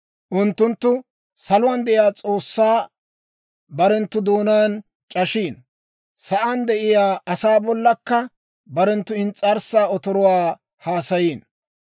Unttunttu saluwaan de'iyaa S'oossaa, barenttu doonaan c'ashiino. Sa'aan de'iyaa asaa bollakka, barenttu ins's'arssan otoruwaa haasayiino.